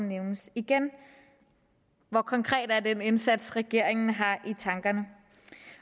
nævnes igen hvor konkret er den indsats regeringen har i tankerne